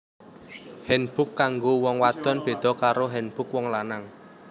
Hanbok kanggo wong wadon beda karo hanbok wong lanang